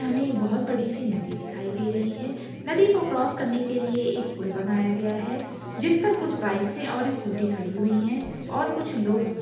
हमे एक बहोत बड़ी सी नदी दिखाई दे रही है नदी को क्रॉस करने के लिए एक पुल बनाया गया है जिसपर कुछ बाइकस हैं और स्कूटी खड़ी हुई हैं और कुछ लोग --